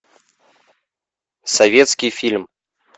советский фильм